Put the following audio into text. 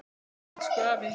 Ó, elsku afi.